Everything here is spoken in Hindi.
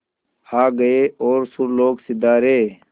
आ गए और सुरलोक सिधारे